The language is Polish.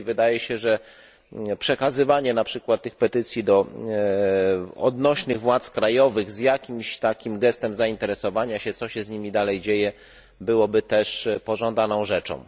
I wydaje się, że przekazywanie na przykład tych petycji do odnośnych władz krajowych z jakimś takim gestem zainteresowania się, co się z nimi dalej dzieje, byłoby też pożądaną rzeczą.